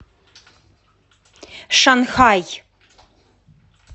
шанхай